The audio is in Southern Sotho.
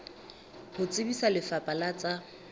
ho tsebisa lefapha la tsa